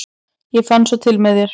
ég fann svo til með þér!